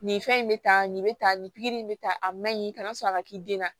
Nin fɛn in bɛ ta nin bɛ tan nin pikiri in bɛ ta a man ɲi kana sɔrɔ a ka k'i den na